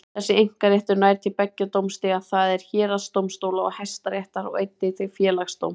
Þessi einkaréttur nær til beggja dómstiga, það er héraðsdómstóla og Hæstaréttar, og einnig til Félagsdóms.